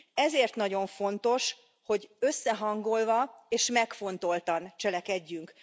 Ezért nagyon fontos, hogy összehangolva és megfontoltan cselekedjünk.